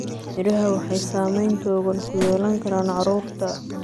Miraha waxay saameyn togan ku yeelan karaan carruurta.